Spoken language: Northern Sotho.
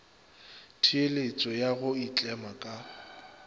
theeletšo ya go itlema ka